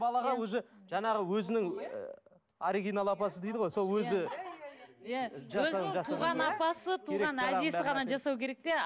балаға уже жаңағы өзінің оригинал апасы дейді ғой сол өзі өзінің туған апасы туған әжесі ғана жасау керек те